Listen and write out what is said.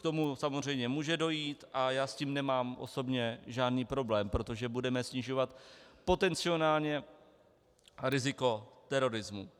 K tomu samozřejmě může dojít a já s tím nemám osobně žádný problém, protože budeme snižovat potenciálně riziko terorismu.